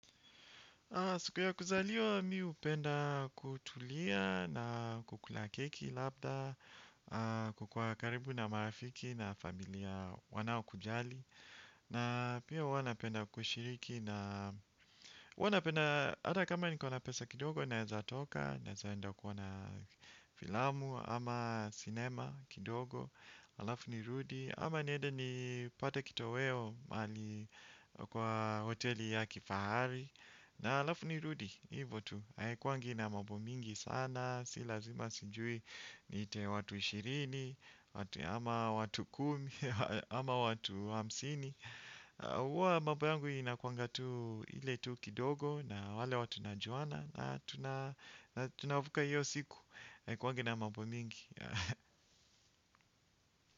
Siku ya kuzaliwa mi hupenda kutulia na kukula keki labda, kukuwa karibu na marafiki na familia wanao kujali. Na pia huwa napenda kushiriki na huwa napenda hata kama niko na pesa kidogo naeza toka. Naeza enda kuona filamu ama cinema kidogo, alafu nirudi ama niede nipate kitoweo mahali kwa hoteli ya kifahari. Na halafu ni rudi, hivo tu, haikuangi na mambo mingi sana. Si lazima sijui niite watu ishirini, ama watu kumi, ama watu hamsini huwa mambo yangu inakuangatu ile tu kidogo na wale watu najuana. Na tunavuka hiyo siku kwangi na mambo mingi.